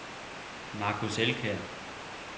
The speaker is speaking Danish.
Marcus Elkjær